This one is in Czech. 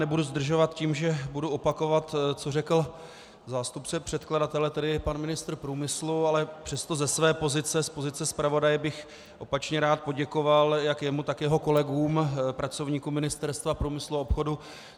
Nebudu zdržovat tím, že bych opakoval, co řekl zástupce předkladatele, tedy pan ministr průmyslu, ale přesto ze své pozice, z pozice zpravodaje, bych opačně rád poděkoval jak jemu, tak jeho kolegům, pracovníkům Ministerstva průmyslu a obchodu.